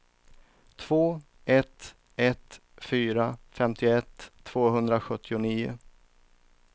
två ett ett fyra femtioett tvåhundrasjuttionio